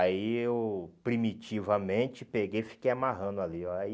Aí eu, primitivamente, peguei e fiquei amarrando ali ó, Aí